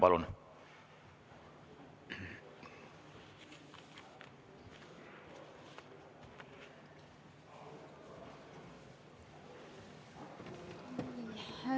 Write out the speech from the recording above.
Palun!